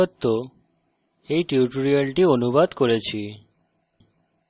আমি কৌশিক দত্ত এই টিউটোরিয়ালটি অনুবাদ করেছি